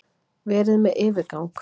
Verið með yfirgang.